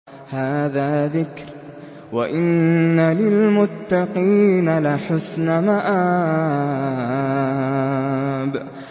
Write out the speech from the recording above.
هَٰذَا ذِكْرٌ ۚ وَإِنَّ لِلْمُتَّقِينَ لَحُسْنَ مَآبٍ